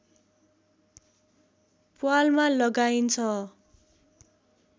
प्वालमा लगाइन्छ